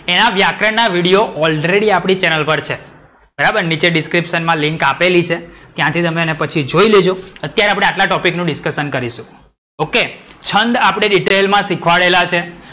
એના વ્યાકરણ ના વિડિયો already આપણી ચેનલ પર છે. બરાબર નીચે description માં લિન્ક આપેલી છે. ત્યાથી તમે એને પછી જોઈ લેજો અત્યારે આપણે આટલા ટોપિક નું discussion કરીશું. OK છંદ આપદે detail માં સિખવાડેલા છે.